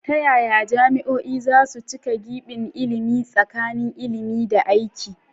Ta yaya jami'o'i za su cike gibin ilimi tsakanin ilimi da aiki?